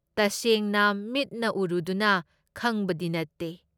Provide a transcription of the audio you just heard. ꯇꯁꯦꯡꯅ ꯃꯤꯠꯅ ꯎꯔꯨꯗꯨꯅ ꯈꯪꯕꯗꯤ ꯅꯠꯇꯦ ꯫